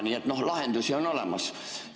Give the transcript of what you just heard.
Nii et lahendusi on olemas.